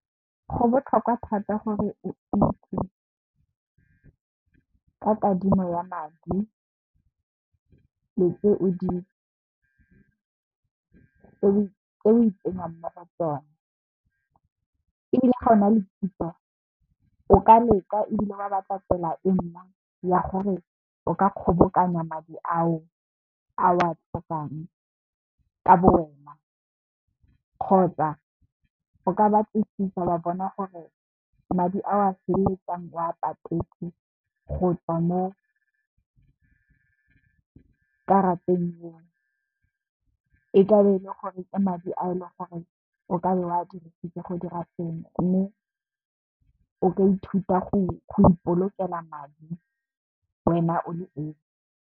Go botlhokwa thata gore o itse ka kadimo ya madi le tse o itsenyang mo go tsona. Ebile, ga o na le kitso o ka leka ebile wa batla tsela e nngwe ya gore o ka kgobokanya madi ao o a tlhokang ka bo wena, kgotsa o ka batlisisa wa bona gore madi ao o feleletsang o wa patetse go tswa mo karateng eo, e ka be e le gore ke madi a e leng gore o ka be o wa dirisitse go dira sengwe mme, o ka ithuta go ipolokela madi wena o le esi.